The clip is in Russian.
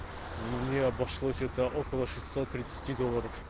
не обошлось это около шестьсот тридцать долларов